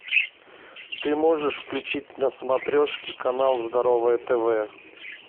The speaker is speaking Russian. ты можешь включить на смотрешке канал здоровое тв